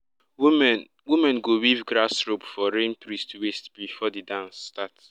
women women go weave grass rope for rain priest waist before the dance start.